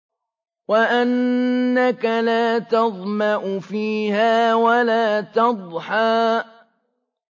وَأَنَّكَ لَا تَظْمَأُ فِيهَا وَلَا تَضْحَىٰ